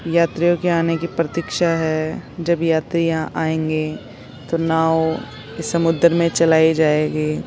यात्रियों की आने की प्रतीक्षा है जब यात्री यहाँ आएंगे तो नाव समुद्र में चलायी जाएगी।